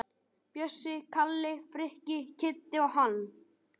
Bjössi, Kalli, Frikki, Kiddi og hann.